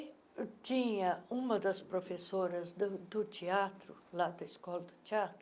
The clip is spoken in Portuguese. tinha uma das professoras do do teatro, lá da Escola do Teatro,